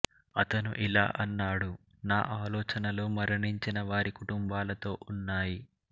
అతను ఇలా అన్నాడు నా ఆలోచనలు మరణించినవారి కుటుంబాలతో ఉన్నాయి